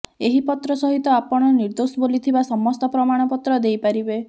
ଏହି ପତ୍ର ସହିତ ଆପଣ ନିଦୋଷ ବୋଲି ଥିବା ସମସ୍ତ ପ୍ରମାଣପତ୍ର ଦେଇପାରିବେ